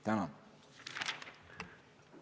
Tänan!